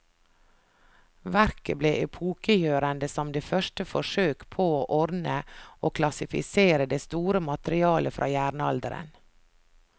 Verket ble epokegjørende som det første forsøk på å ordne og klassifisere det store materiale fra jernalderen.